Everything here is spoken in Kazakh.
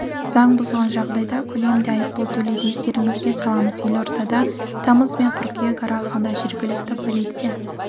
заң бұзған жағдайда көлемінде айыппұл төлейді естеріңізге саламыз елордада тамыз бен қыркүйек аралығында жергілікті полиция